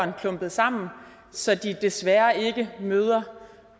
er klumpet sammen så de desværre ikke møder